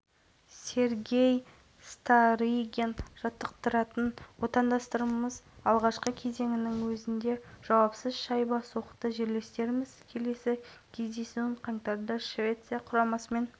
соңғы кезең де жоспар бойынша өрбіді алғашқы шабуылда-ақ кирилл савитскийдің соққысы көздеген жерінен дәл табылды артынша